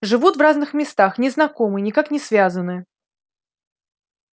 живут в разных местах не знакомы никак не связаны